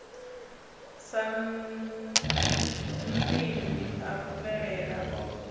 sa nnḓivhi a luvhelela o